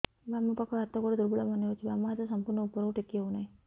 ବାମ ପାଖ ହାତ ଗୋଡ ଦୁର୍ବଳ ମନେ ହଉଛି ବାମ ହାତ ସମ୍ପୂର୍ଣ ଉପରକୁ ଟେକି ହଉ ନାହିଁ